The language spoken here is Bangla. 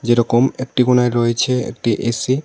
যেরকম একটি কোণায় রয়েছে একটি এ_সি ।